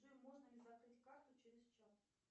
джой можно ли закрыть карту через чат